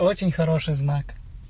очень хороший знак